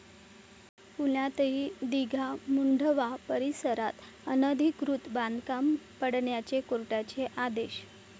पुण्यातही 'दिघा', मुढंवा परिसरात अनधिकृत बांधकाम पाडण्याचे कोर्टाचे आदेश